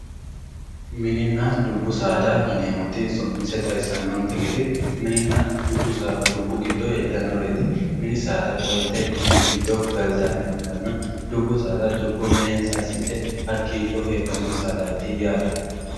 mininna dubbu saada yineemmoti su'mise xawisannonte gede minenna dubboho heedhannoreeti mini saada qolte mini giddo galtannoha ikkanna dubbu saada dubbo minensa assidhe hakkiicho heedhanno yaate.